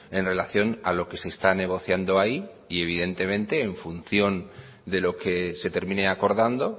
en relación a lo que se está negociando ahí y evidentemente en función de lo que se termine acordando